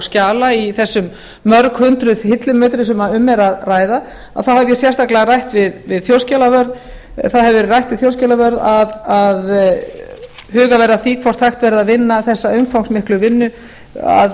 skjala í þessum mörg hundruð hillumetrum sem um er að ræða hef ég sérstaklega rætt við þjóðskjalavörð eða það hefur verið rætt við þjóðskjalavörð að hugað verði að því hvort hægt verði að vinna þessa umfangsmiklu vinnu að